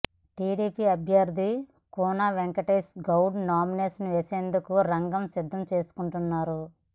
TDP అభ్యర్ధి Koona Venkatesh Goud nomination వేసేందుకు రంగం సిద్ధం చేసుకుంటున్నారు